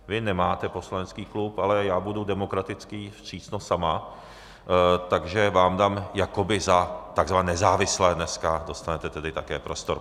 Vy nemáte poslanecký klub, ale já budu demokratický, vstřícnost sama, takže vám dám, jakoby za tzv. nezávislé dneska dostanete tedy také prostor.